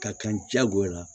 Ka kan jagoya la